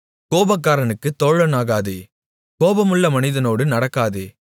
கோபக்காரனுக்குத் தோழனாகாதே கோபமுள்ள மனிதனோடு நடக்காதே